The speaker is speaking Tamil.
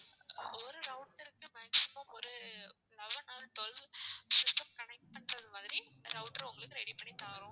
ஒரு router க்கு maximum ஒரு eleven or twelve system connect பண்றது மாதிரி router உங்களுக்கு ready பண்ணி தாறோம்